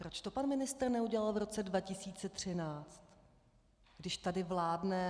Proč to pan ministr neudělal v roce 2013, když tady vládne?